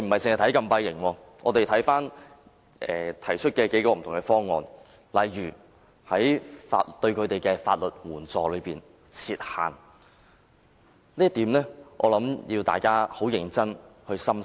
除禁閉營之外，議員還提出了數種不同方案，例如就提供法律援助設限，就這一點，我相信大家必須認真地深思。